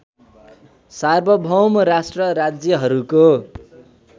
सार्वभौम राष्ट्र राज्यहरूको